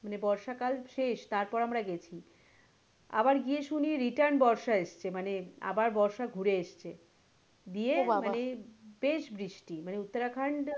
মানে বর্ষা কাল শেষ তারপরে আমরা গেছি আবার গিয়ে শুনি return বর্ষা এসছে মানে আবার বর্ষা ঘুরে এসছে দিয়ে মানে বেশ বৃষ্টি মানে উত্তরাখন্ড,